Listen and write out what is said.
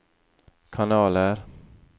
kanaler